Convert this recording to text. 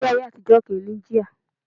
Kẹ̀kẹ́ ayé àtijọ́ kì í ní jíà